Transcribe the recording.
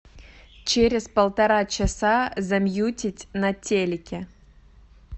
через полтора часа замьютить на телике